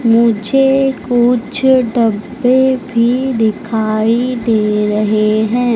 मुझे कुछ डब्बे भी दिखाई दे रहे हैं।